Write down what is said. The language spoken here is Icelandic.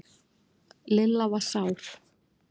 Lilla var sár.